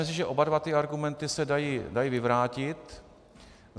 Myslím, že oba dva ty argumenty se dají vyvrátit.